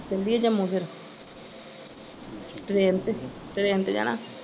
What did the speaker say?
ਚਲੀਏ ਜੰਮੂ ਫਿਰ train ਤੇ train ਤੇ ਜਾਣਾ।